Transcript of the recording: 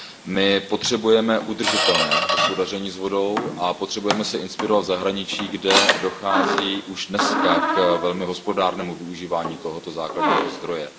My potřebujeme udržitelné hospodaření s vodou a potřebujeme se inspirovat v zahraničí, kde dochází už dnes k velmi hospodárnému využívání tohoto základního zdroje.